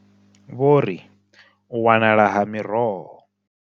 Vho ri, U wanala ha miroho.